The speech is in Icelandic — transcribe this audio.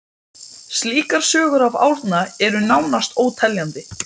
Slíkar sögur af Árna eru nánast óteljandi.